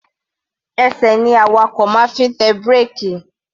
Ẹsẹ̀ ní awakọ̀ máa ń fi ń tẹ bírèkì.